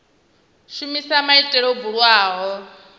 shumisa maitele o bulwaho kha